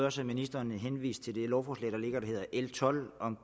også at ministeren henviste til det lovforslag der hedder l tolv om